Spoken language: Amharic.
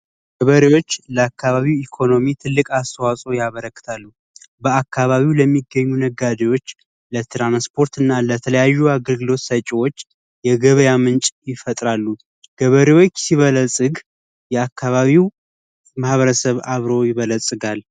ገበሬዎች ለአካባቢው ኢኮኖሚ ትልቅ አስተዋጽኦ ያበረክታሉ። በአካባቢው ለሚገኙ ነጋዴዎች ለትራንስፖርትና ለተለያዩ አገልግሎት ሰጪዎች የገበያ ምንጭ ይፈጥራሉ። ገበሬዎች ሲበለጽግ የአካባቢው ማኅበረሰብ አብሮ ይበለጽጋል።